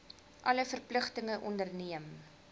alle verpligtinge onderneem